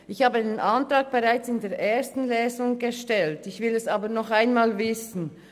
Ich habe diesen Antrag bereits in der ersten Lesung gestellt, ich will es aber noch einmal wissen: